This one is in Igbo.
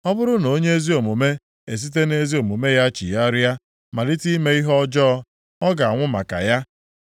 Ọ bụrụ na onye ezi omume esite nʼezi omume ya chigharịa malite ime ihe ọjọọ, ọ ga-anwụ maka ya.